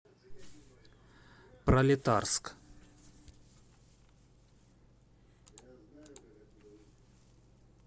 пролетарск